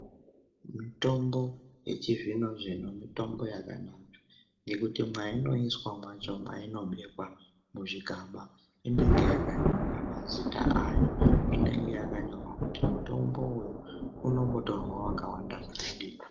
Mitombo yechizvinozvino mitombo yakanaka ngekuti mwainoiswa mwacho mwainobekwa muzvikaba inenge yakanyorwa mazita ayo inenge yakanyorwa kuti mutombo uyu unombotorwa wakawanda zvkadini.